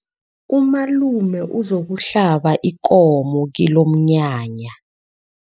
Umalume uzokuhlaba ikomo kilomnyanya.